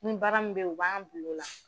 Nin baara min be ye u b'an bil'o la